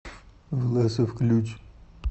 власов ключ